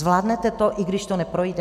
Zvládnete to, i když to neprojde?